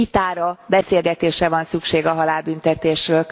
Vitára, beszélgetésre van szükség a halálbüntetésről.